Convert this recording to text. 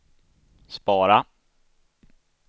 spara